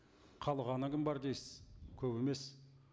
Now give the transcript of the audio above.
қалғаны кім бар дейсіз көп емес